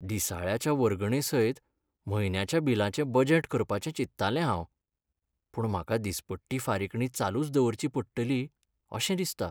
दिसाळ्याच्या वर्गणेसयत म्हयन्याच्या बिलाचें बजेट करपाचें चिंत्तालें हांव, पूण म्हाका दिसपट्टी फारीकणी चालूच दवरची पडटली अशें दिसता.